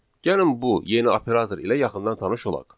Gəlin bu yeni operator ilə yaxından tanış olaq.